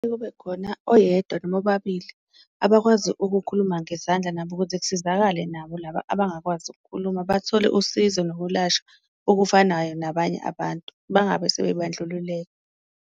Kube khona oyedwa noma ababili abakwazi ukukhuluma ngezandla nabo ukuze kusizakale nabo laba abangakwazi ukukhuluma, bathole usizo nokulashwa okufanayo nabanye abantu, bangabe sebebandlululeka.